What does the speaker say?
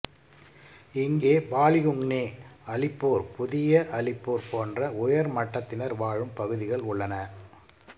இங்கே பாலிகுங்னே அலிப்பூர் புதிய அலிப்பூர் போன்ற உயர் மட்டத்தினர் வாழும் பகுதிகள் உள்ளன